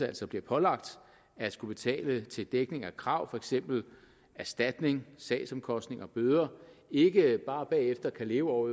altså bliver pålagt at skulle betale til dækning af krav for eksempel erstatning sagsomkostninger og bøder ikke bare bagefter kan leve over